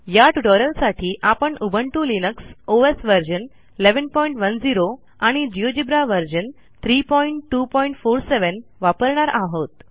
या ट्युटोरियलसाठी आपण उबुंटू लिनक्स ओएस व्हर्शन 1110 आणि जिओजेब्रा व्हर्शन 32470 वापरणार आहोत